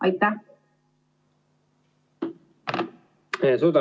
Suur tänu!